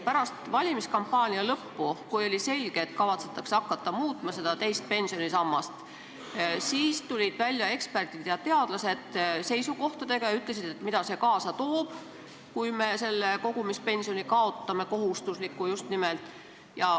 Pärast valimiskampaania lõppu, kui oli selge, et kavatsetakse hakata muutma teist pensionisammast, siis tulid välja eksperdid ja teadlased oma seisukohtadega ning ütlesid, mida see kaasa toob, kui me kohustusliku kogumispensioni kaotame.